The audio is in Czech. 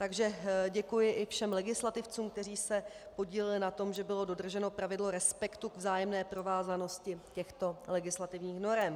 Takže děkuji i všem legislativcům, kteří se podíleli na tom, že bylo dodrženo pravidlo respektu k vzájemné provázanosti těchto legislativních norem.